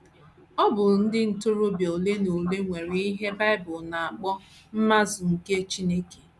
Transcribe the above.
Ọ bụ ndị ntorobịa ole na na ole nwere ihe Bible na - akpọ “ mmazu nke Chineke. ”